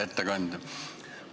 Ettekandja!